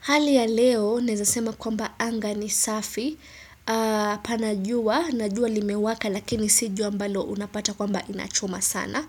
Hali ya leo naezasema kwamba anga ni safi, ahh panajua, najua limewaka lakini si jua ambalo unapata kwamba inachoma sana.